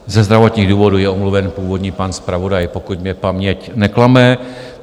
Ze zdravotních důvodů je omluven původní pan zpravodaj, pokud mě paměť neklame.